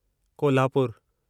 कोल्हापुरु